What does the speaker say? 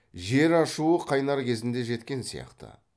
жер ашуы қайнар кезіне жеткен сияқты